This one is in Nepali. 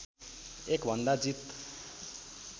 भन्दा एक जीत